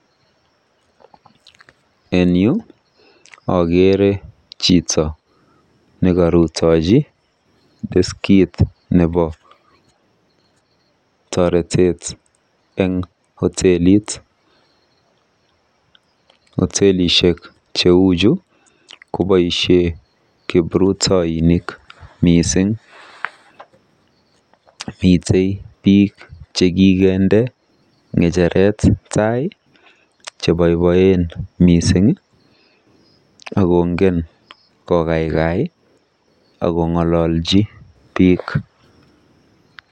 En yu akeere chito nekorutoji deskit nebo toretet eng hotelit. Hotelishek cheuchu koboisie kiprutoinik mising. Mitei biik chekikende ng'echeret tai cheboiboen mising akongen kokaikai akong'ololji biik.